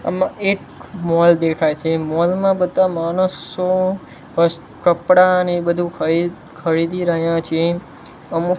આમા એક મોલ દેખાઇ છે મોલ મા બધા માણસો વસ કપડા ને બધુ ખરી ખરીદી રહ્યા છે અમુક--